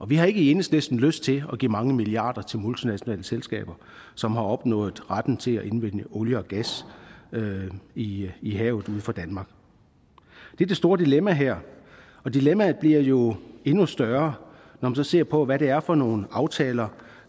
vi har i enhedslisten ikke lyst til at give mange milliarder til multinationale selskaber som har opnået retten til at indvinde olie og gas i i havet uden for danmark det er det store dilemma her og dilemmaet bliver jo endnu større når man ser på hvad det er for nogle aftaler